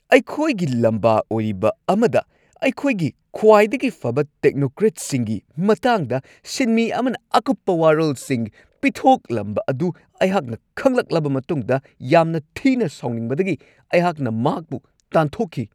ꯑꯩꯈꯣꯏꯒꯤ ꯂꯝꯕꯥ ꯑꯣꯏꯔꯤꯕ ꯑꯃꯗ ꯑꯩꯈꯣꯏꯒꯤ ꯈ꯭ꯋꯥꯏꯗꯒꯤ ꯐꯕ ꯇꯦꯛꯅꯣꯀ꯭ꯔꯦꯠꯁꯤꯡꯒꯤ ꯃꯇꯥꯡꯗ ꯁꯤꯟꯃꯤ ꯑꯃꯅ ꯑꯀꯨꯞꯄ ꯋꯥꯔꯣꯜꯁꯤꯡ ꯄꯤꯊꯣꯛꯂꯝꯕ ꯑꯗꯨ ꯑꯩꯍꯥꯛꯅ ꯈꯪꯂꯛꯂꯕ ꯃꯇꯨꯡꯗ ꯌꯥꯝꯅ ꯊꯤꯅ ꯁꯥꯎꯅꯤꯡꯕꯗꯒꯤ ꯑꯩꯍꯥꯛꯅ ꯃꯍꯥꯛꯄꯨ ꯇꯥꯟꯊꯣꯛꯈꯤ ꯫